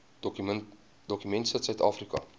dokument sit suidafrika